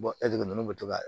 ninnu bɛ to ka